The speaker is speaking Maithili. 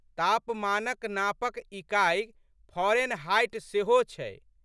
तापमानक नापक इकाइ फारेनहाइट सेहो छै।